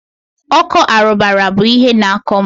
ọkọ arụbara bụ ihe na-akọ mụ.